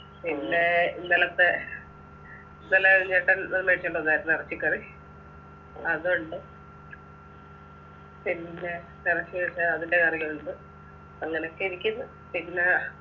പിന്നെ ഇന്നലത്തെ ഇന്നലെ ചേട്ടൻ ഏർ മേടിച്ചോണ്ടു വന്നാരുന്നു ഇറച്ചിക്കറി അതുണ്ട് പിന്നെ ഇറച്ചിയുണ്ട് അതിൻ്റെ കറിയുണ്ട് അങ്ങനൊക്കെ ഇരിക്ക്ന്ന് പിന്നെ